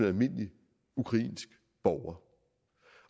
almindelig ukrainsk borger